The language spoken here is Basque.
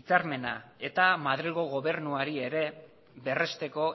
hitzarmena eta madrilgo gobernuari ere berresteko